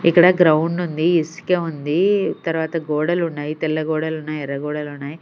ఇక్కడ గ్రౌండ్ ఉంది ఇసికే ఉంది తర్వాత గోడలు ఉన్నాయి తెల్ల గోడలు ఉన్నాయి ఎర్ర గోడలు ఉన్నాయి.